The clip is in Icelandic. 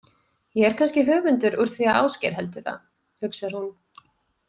Ég er kannski höfundur úr því að Ásgeir heldur það, hugsar hún.